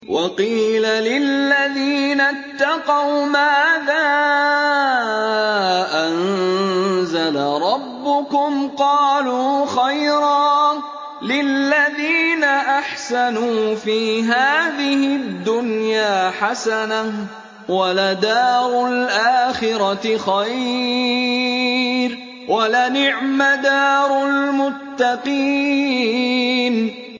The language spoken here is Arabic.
۞ وَقِيلَ لِلَّذِينَ اتَّقَوْا مَاذَا أَنزَلَ رَبُّكُمْ ۚ قَالُوا خَيْرًا ۗ لِّلَّذِينَ أَحْسَنُوا فِي هَٰذِهِ الدُّنْيَا حَسَنَةٌ ۚ وَلَدَارُ الْآخِرَةِ خَيْرٌ ۚ وَلَنِعْمَ دَارُ الْمُتَّقِينَ